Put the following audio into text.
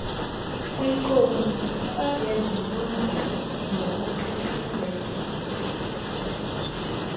kwikomiti yezilungiso nokuthuthuzelwa